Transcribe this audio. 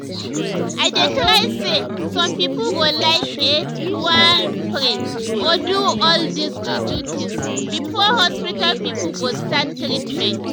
i dey try say some pipo go like eh to wan pray or do all dis ju-ju things before hospital pipo go start treatment.